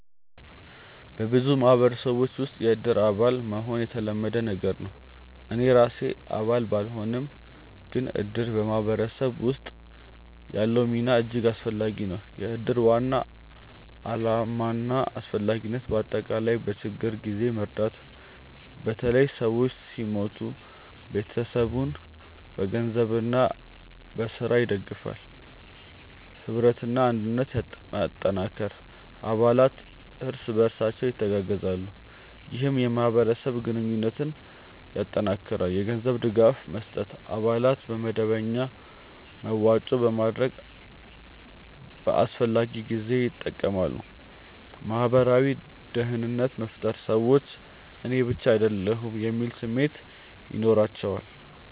በብዙ ማህበረሰቦች ውስጥ “የእድር አባል” መሆን የተለመደ ነገር ነው። እኔ ራሴ አባል ባልሆንም፣ ግን እድር በማህበረሰብ ውስጥ ያለው ሚና እጅግ አስፈላጊ ነው። የእድር ዋና ዓላማና አስፈላጊነት በአጠቃላይ፦ በችግኝ ጊዜ መርዳት – በተለይ ሰው ሲሞት ቤተሰቡን በገንዘብና በሥራ ይደግፋል። ኅብረትና አንድነት መጠንከር – አባላት እርስ በርሳቸው ይተጋገዛሉ፣ ይህም የማህበረሰብ ግንኙነትን ያጠናክራል። የገንዘብ ድጋፍ መስጠት – አባላት በመደበኛ መዋጮ በማድረግ በአስፈላጊ ጊዜ ይጠቀማሉ። ማህበራዊ ደህንነት መፍጠር – ሰዎች “እኔ ብቻ አይደለሁም” የሚል ስሜት ይኖራቸዋል